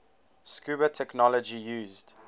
scuba technology used